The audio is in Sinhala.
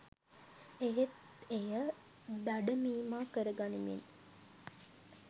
එහෙත් එය දඩමීමා කරගනිමින්